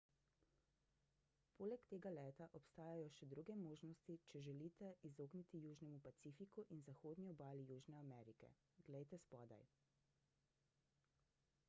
poleg tega leta obstajajo še druge možnosti če se želite izogniti južnemu pacifiku in zahodni obali južne amerike glejte spodaj